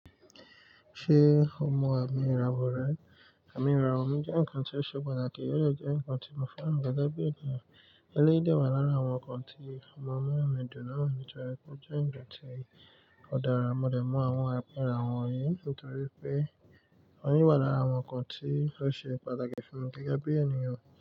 Ṣé o mọ àmi ìràwọ̀ rẹ? Àmì ìràwọ̀ mí jẹ́ ǹkan tó ṣe pàtàkì, ó dẹ jẹ́ ǹkan tí mo fẹ́ràn gẹ́gẹ́ bí i ènìyàn. Eléyìí dẹ̀ wá lára àwọn ǹkan tí ó ma ń múnú mi dùn náà nítorí pé ó jẹ́ ǹkan tí ó dára. Mo dẹ̀ mọ àwọn àmì ìràwọ̀ wọ̀nyí nítorí pé awọ́n yí wà lára àwọn ǹkan tí ó ṣe pàtàkì fún mi gẹ́gẹ́ bí ènìyàn.